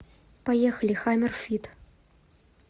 поехали хаммер фит